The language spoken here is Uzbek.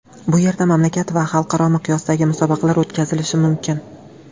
Bu yerda mamlakat va xalqaro miqyosdagi musobaqalar o‘tkazilishi mumkin.